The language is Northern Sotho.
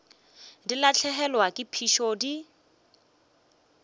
di lahlegelwa ke phišo di